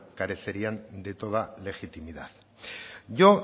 carecerían de toda legitimidad yo